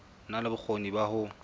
na le bokgoni ba ho